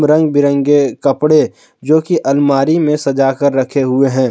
रंग बिरंगे कपड़े जो कि अलमारी में सजा कर रखे हुए हैं।